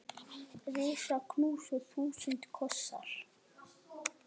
Risa knús og þúsund kossar.